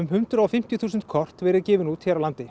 hundrað og fimmtíu þúsund kort verið gefin út hér á landi